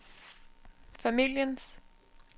familiens